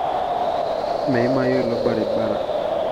meimayu ilo barabara